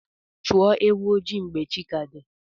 Chọọ ewu ojii mgbe chi ka di.